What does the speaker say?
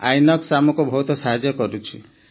INOX ଆମକୁ ବହୁତ ସାହାଯ୍ୟ କରୁଛି